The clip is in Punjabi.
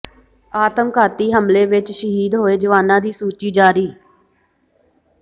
ਆਤਮਘਾਤੀ ਹਮਲੇ ਵਿੱਚ ਸ਼ਹੀਦ ਹੋਏ ਜਵਾਨਾਂ ਦੀ ਸੂਚੀ ਜਾਰੀ